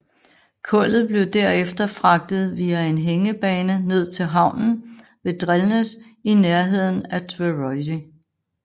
Kullet blev derefter fragtet via en hængebane ned til havnen ved Drelnes i nærheden af Tvøroyri